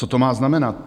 Co to má znamenat?